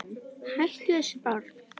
Hættu þessu barn!